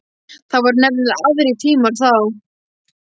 Það voru nefnilega aðrir tímar þá.